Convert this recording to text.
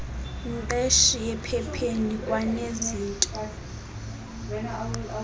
mqeshi ephepheni kwanezinto